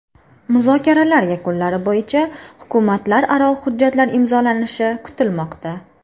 Muzokaralar yakunlari bo‘yicha hukumatlararo hujjatlar imzolanishi kutilmoqda.